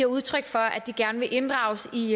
udtryk for at de gerne vil inddrages i